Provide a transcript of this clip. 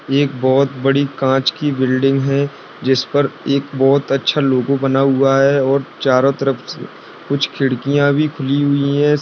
एक बहुत बड़ी कांच की बिल्डिंग है जिस पर एक बहुत अच्छा लोगो बना हुआ है और चारों तरफ से कुछ खिड़कियाँ भी खुली हुई है।